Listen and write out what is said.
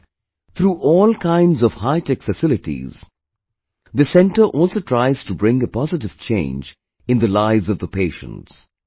Friends, through all kinds of hitech facilities, this centre also tries to bring a positive change in the lives of the patients